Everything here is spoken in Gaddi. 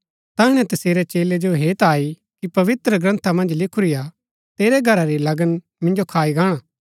तैहणै तसेरै चेलै जो हेत आई कि पवित्रग्रन्था मन्ज लिखूरा हा तेरै घरा री लगन मिन्जो खाई गाणा